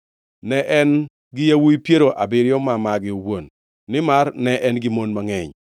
Ne en-gi yawuowi piero abiriyo ma mage owuon, nimar ne en-gi mon mangʼeny.